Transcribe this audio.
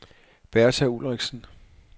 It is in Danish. Bertha Ulriksen